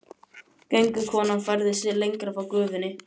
Göngukonan færði sig lengra frá gufunni.